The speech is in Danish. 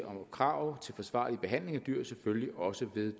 og krav til forsvarlig behandling af dyr selvfølgelig også ved